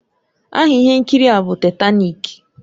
Aha ihe nkiri a bụ Taitanik